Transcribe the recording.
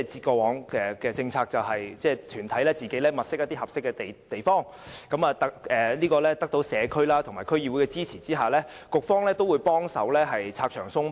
過往的政策，便是由團體自行物色合適地點，並在得到社區和區議會的支持下，局方會同時幫忙拆牆鬆綁。